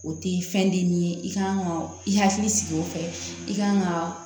O tɛ fɛn di min ye i kan ka i hakili sigi o fɛ i ka kan ka